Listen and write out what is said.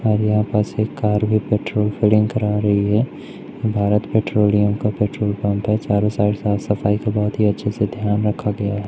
और यहां पास एक कार भी पेट्रोल फिलिंग करा रही है भारत पेट्रोलियम का पेट्रोल पंप है चारों साइड साफ सफाई का बहोत ही अच्छे से ध्यान रखा गया--